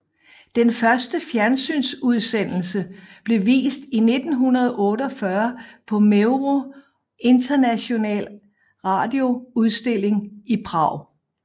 Den første fjernsynsudsendelse blev vist i 1948 på MEVRO International Radio udstilling i Prag